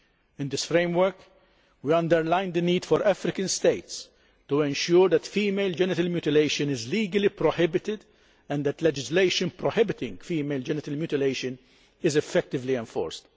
In this framework, we underline the need for African states to ensure that female genital mutilation is legally prohibited and that legislation prohibiting female genital mutilation is effectively enforced.